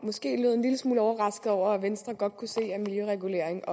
måske lød en lille smule overrasket over at venstre godt kunne se at miljøregulering